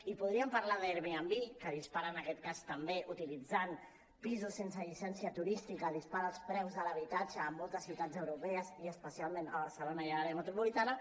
i podríem parlar d’airbnb que dispara en aquest cas també utilitzant pisos sense llicència turística els preus de l’habitatge a moltes ciutats europees i especialment a barcelona i a l’àrea metropolitana